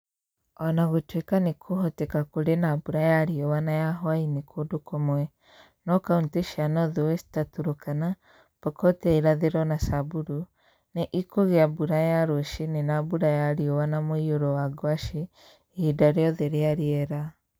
O na gũtuĩka nĩ kũhoteka kũrĩ na mbura ya riũa na ya hwaĩ-inĩ kũndũ kũmwe, no kaunti cia Northwest, ta Turkana, Pokot ya ĩrathĩro na Samburu, nĩ ikũgĩa mbura ya rũcinĩ na mbura ya riũa na mũiyũro wa ngwacĩ, ihinda rĩothe rĩa rĩera.